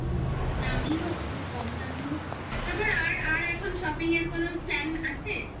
খুব দামি হোক খুব কম দামি হোক তারপর আর এখন shopping এর কোনো plan আছে